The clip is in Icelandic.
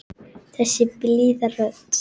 Þessi blíða rödd.